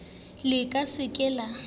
la ka ke se ke